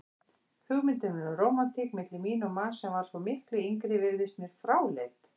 Hugmyndin um rómantík milli mín og manns sem var svo miklu yngri virtist mér fráleit.